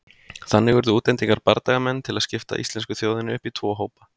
Þannig urðu útlendir bardagamenn til að skipta íslensku þjóðinni upp í tvo hópa.